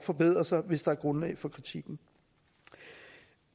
forbedre sig hvis der er grundlag for kritikken